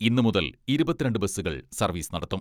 ഇന്ന് മുതൽ ഇരുപത്തിരണ്ട് ബസ്സുകൾ സർവീസ് നടത്തും.